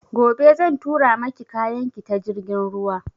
Gobe zan tura maki kayan ki ta jirgin ruwa